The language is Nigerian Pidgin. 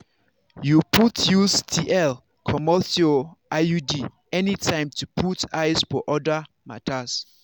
you fit choose tl comot your iud anytime to put eyes for other matters.